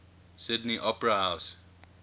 sydney opera house